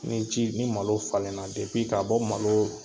Ni ji ni malo falen na depi k'a bɔ malo